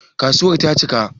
Kasuwar ta cika?